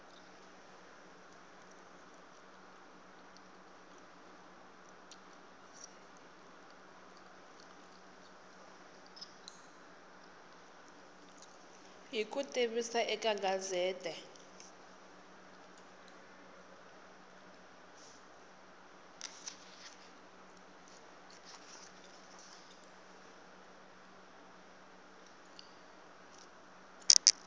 hi ku tivisa eka gazette